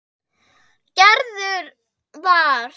Gerður var.